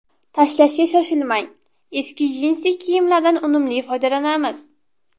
Tashlashga shoshilmang: eski jinsi kiyimlardan unumli foydalanamiz.